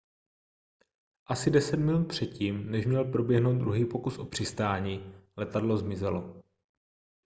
asi deset minut před tím než měl proběhnout druhý pokus o přistání letadlo zmizelo